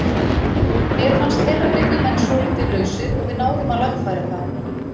Mér fannst þeirra miðjumenn svolítið lausir og við náðum að lagfæra það.